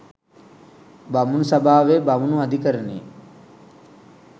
බමුණු සභාවේ බමුණු අධිකරණයේ